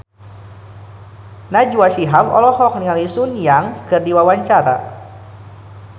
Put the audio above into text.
Najwa Shihab olohok ningali Sun Yang keur diwawancara